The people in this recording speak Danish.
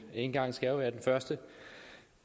en gang skal jo være den første